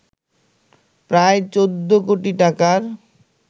প্রায় ১৪ কোটি টাকার